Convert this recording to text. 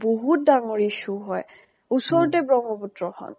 বিহুত ডাঙৰ issue হয়। ওচৰতে ব্ৰহ্মাপুত্ৰ খন